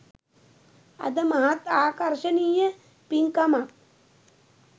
අද මහත් ආකර්ශනීය පින්කමක්